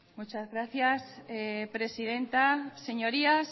muchas gracias presidenta señorías